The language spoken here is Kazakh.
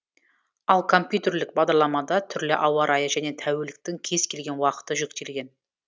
ал компьютерлік бағдарламада түрлі ауа райы және тәуліктің кез келген уақыты жүктелген